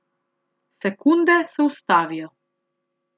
Sekunde se ustavijo.